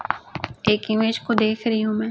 एक इमेज को देख रही हूं मैं।